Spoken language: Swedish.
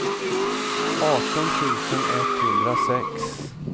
arton tusen etthundrasex